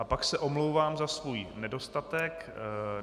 A pak se omlouvám za svůj nedostatek.